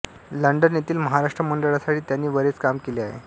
London येथील महाराष्ट्र मंडळासाठी त्यांनी बरेच काम केले आहे